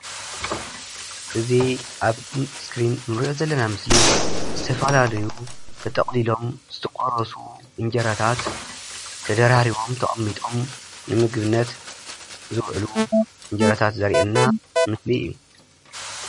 እዚ ኣብ እስክሪን እንርኦ ዘለና ምስሊ ዝተፈላለዩ ተጠቅሊሎም ዝተቆራረሱ እንጀራታት ተደራሪቦም ተቀሚጦም ንምግብነት ዝውዕሉ እንጀራታት ዘሪአና ምስሊ እዩ።